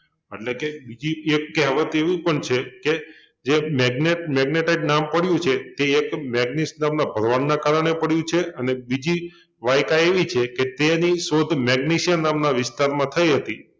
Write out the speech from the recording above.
એટલે કે બીજી એક કહેવત એવી પણ છે કે જે મેગ્નેટ મેગ્નેટાઈટ નામ પડ્યુ છે તે એક મેગ્નીસ નામના ભરવાડને કારણે પડ્યુ છે અને બીજી વાયકા એવી છે કે તેની શોધ મેગ્નિશિયા નામના વિસ્તારમાં થઈ હતી